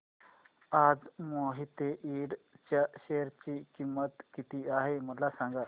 आज मोहिते इंड च्या शेअर ची किंमत किती आहे मला सांगा